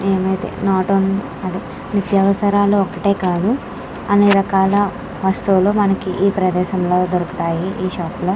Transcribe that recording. ఏమైతే నోట్ అదే నిత్యవసరాలు ఒక్కటే కాదు అన్ని రకాల వస్తువులు మనకి ఈ ప్రదేశంలో దొరుకుతాయి ఈ షాప్ లో.